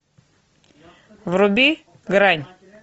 вруби грань